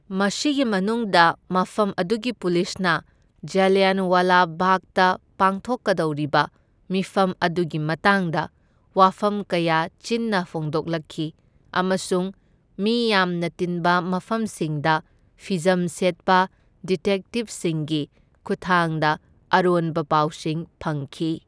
ꯃꯁꯤꯒꯤ ꯃꯅꯨꯡꯗ ꯃꯐꯝ ꯑꯗꯨꯒꯤ ꯄꯨꯂꯤꯁꯅ ꯖꯥꯂꯤꯌꯥꯟꯋꯥꯂꯥ ꯕꯥꯒꯇ ꯄꯥꯡꯊꯣꯛꯀꯗꯧꯔꯤꯕ ꯃꯤꯐꯝ ꯑꯗꯨꯒꯤ ꯃꯇꯥꯡꯗ ꯋꯥꯐꯝ ꯀꯌꯥ ꯆꯤꯟꯅ ꯐꯣꯡꯗꯣꯛꯂꯛꯈꯤ ꯑꯃꯁꯨꯡ ꯃꯤ ꯌꯥꯝꯅ ꯇꯤꯟꯕ ꯃꯐꯝꯁꯤꯡꯗ ꯐꯤꯖꯝ ꯁꯦꯠꯄ ꯗꯤꯇꯦꯛꯇꯤꯚꯁꯤꯡꯒꯤ ꯈꯨꯠꯊꯥꯡꯗ ꯑꯔꯣꯟꯕ ꯄꯥꯎꯁꯤꯡ ꯐꯪꯈꯤ꯫